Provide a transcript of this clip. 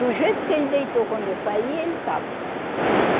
Do jeito que ele deitou quando eu saí, ele estava.